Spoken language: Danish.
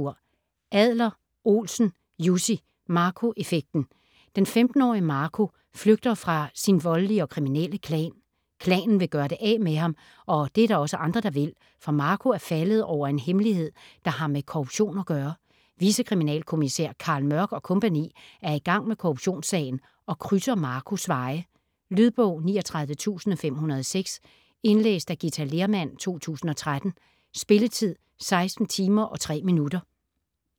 Adler-Olsen, Jussi: Marco effekten Den 15-årige Marco flygter fra sin voldelige og kriminelle klan. Klanen vil gøre det af med ham, og det er der også andre, der vil, for Marco er faldet over en hemmelighed, der har med korruption at gøre. Vicekriminalkommissær Carl Mørck og co. er i gang med korruptionssagen og krydser Marcos veje. Lydbog 39506 Indlæst af Githa Lehrmann, 2013. Spilletid: 16 timer, 3 minutter.